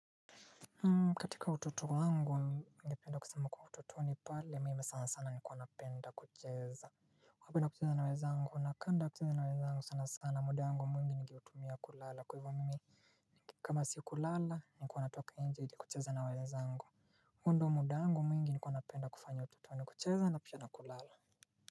Katika utoto wangu ningependa kusema kwa utotoni pale mimi sana sana nilikuwa napenda kucheza. Napenda kucheza na wezangu na kanda kucheza na wezangu sana sana muda wangu mwingi nigeutumia kulala kwa hivo mimi kama sio kulala nilikua natoka inje ili kucheza na wenzangu huo ndio muda wangu mwingi nilikua napenda kufanya utotoni kucheza na pia kulala.